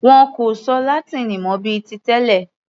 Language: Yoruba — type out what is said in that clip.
Wọn kò sọ Látíìnì mọ bíi ti tẹlẹ̀.